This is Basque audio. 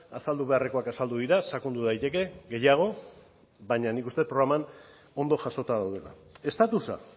azaldu beharrekoak azaldu dira sakondu daiteke gehiago baina nik uste dut programan ondo jasota daudela estatusa